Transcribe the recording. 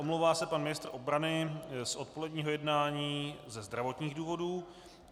Omlouvá se pan ministr obrany z odpoledního jednání ze zdravotních důvodů.